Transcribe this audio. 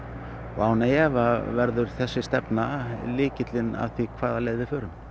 og án efa verður þessi stefna lykillinn að því hvaða leið við förum